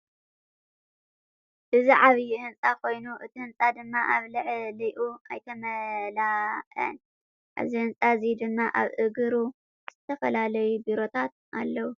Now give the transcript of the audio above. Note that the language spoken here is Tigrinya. እዚ ዓብይ ህንፃ ኮይኑ እቲ ህንፃ ድማ ኣብ ላዕሊኡ ኣይተመለአን። ኣብዚ ህንፃ እዚ ድማ ኣብ ኢግሩ ዝተፈላለዩ ቢሮታት ኣለዉ ።